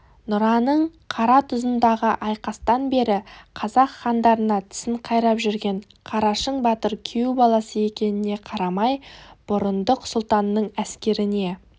нұраның қаратұзындағы айқастан бері қазақ хандарына тісін қайрап жүрген қарашың батыр күйеу баласы екеніне қарамай бұрындық сұлтанның әскеріне